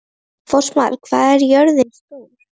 Fossmar, hvað er jörðin stór?